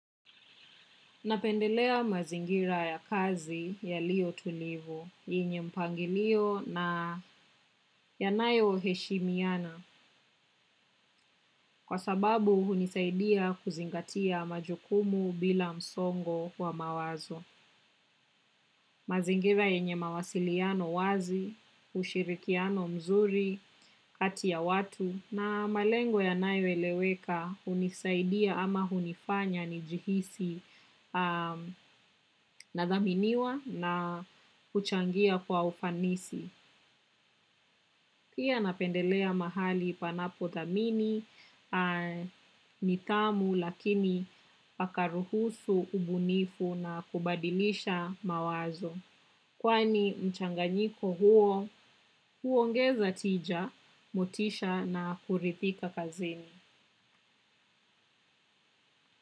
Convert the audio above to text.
Napendelea mazingira ya kazi yalio tulivu, yenye mpangilio na yanayo heshimiana, kwa sababu hunisaidia kuzingatia majukumu bila msongo wa mawazo. Mazingira yenye mawasiliano wazi, ushirikiano mzuri, kati ya watu na malengo yanayoeleweka hunisaidia ama hunifanya nijihisi nadhaminiwa na kuchangia kwa ufanisi. Pia napendelea mahali panapothamini, nidhamu lakini pakaruhusu ubunifu na kubadilisha mawazo. Kwani mchanganyiko huo, huongeza tija, motisha na kurithika kazini.